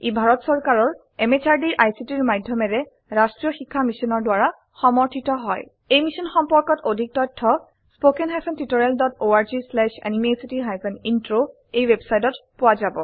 ই ভাৰত চৰকাৰৰ MHRDৰ ICTৰ মাধয়মেৰে ৰাস্ত্ৰীয় শিক্ষা মিছনৰ দ্ৱাৰা সমৰ্থিত হয় এই মিশ্যন সম্পৰ্কত অধিক তথ্য spoken hyphen tutorial dot org slash এনএমইআইচিত হাইফেন ইন্ট্ৰ ৱেবচাইটত পোৱা যাব